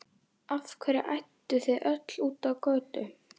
Af hverju ædduð þið öll út á götu?